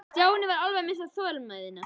Stjáni var alveg að missa þolinmæðina.